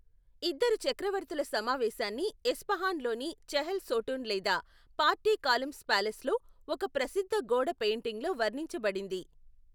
ఇద్దరు చక్రవర్తుల సమావేశాన్ని ఎస్ఫహాన్లోని చెహెల్ సోటూన్ లేదా ఫార్టీ కాలమ్స్ ప్యాలెస్లో ఒక ప్రసిద్ధ గోడ పెయింటింగ్లో వర్ణించబడింది.